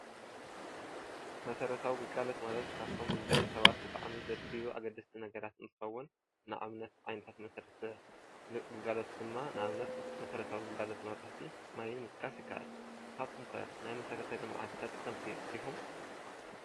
መስረታዊ ግልጋሎት ማለት ካብፍቶም ንደቂ ሰባት ብጣዕሚ ዘድልዩ ኣገድሥቲ ነገራት እንትኸውን ንኣብነት ዓይነታት መሠረታዊ ግልጋሎት ድማ ፣ንኣብነት መሠረታዊ ግልጋሎት መብራህቲ፣ ማይን ምጥቃስ ይካኣል። ንስካትኩም ከ ናይ መሰረተ ልምዓት ተጠቐምቲ ዲኹም?